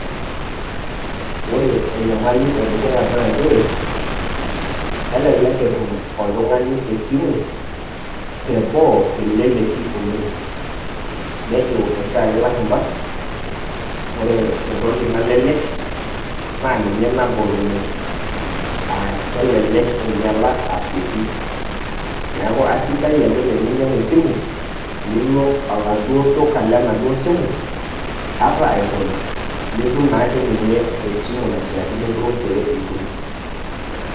Ore enyamali edukuya na njere, elelek etum oltung'ani esimu teboo teleleki oleng'. Nejo oshiake ilashumpa, ore entoki nalelek, na ninye nagol oleng'. Ah kelelek einyala asieki. Neeku asidai ake teninyang'u esimu, nilo aladuo duka le naduo simu, ata egol, nitum nake ninye esimu naishaakino duo pe itum.